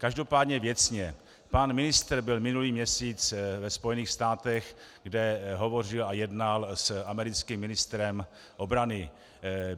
Každopádně věcně: Pan ministr byl minulý měsíc ve Spojených státech, kde hovořil a jednal s americkým ministrem obrany.